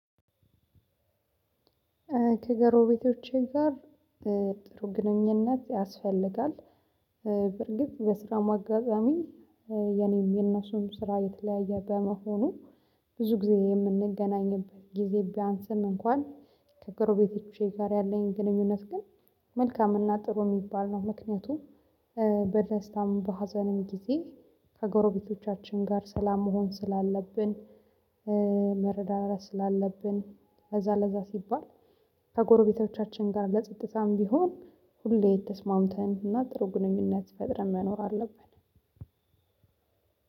ከጎረቤቶቼ ጋር ጥሩ ግንኙነት ያስፈልጋል። በርግጥ በስራም አጋዛሚ የኔም የነሱም ስራ የተለያየ በመሆኑ ብዙ ጊዜ የምንገናኝበት ጊዜ ቢያንስም እንኳን ከጎረቤቶቼ ጋር ያለኝን ግንኙነት ግን መልካም እና ጥሩ ሚባል ነው ምክንያቱም በደስታም በሀዘንም ጊዜ ከጎረቤቶቻችን ጋር ሰላም መሆን ስላለብን መረዳዳት ስላለብን ለዛ ለዛ ሲባል ከጎረቤቶቻችን ጋር ለጸጥታም ቢሆን ሁሌ ተስማምተን እና ጥሩ ግንኙነት ፈጥረን መኖር አለብን።